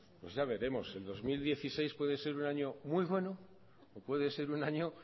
pues ya veremos el dos mil dieciséis puede ser un año muy bueno o puede ser un año